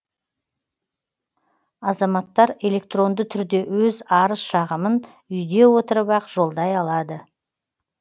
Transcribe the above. азаматтар электронды түрде өз арыз шағымын үйде отырып ақ жолдай алады